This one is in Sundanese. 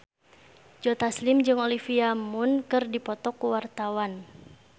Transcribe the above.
Joe Taslim jeung Olivia Munn keur dipoto ku wartawan